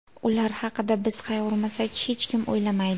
Ular haqida biz qayg‘urmasak, hech kim o‘ylamaydi.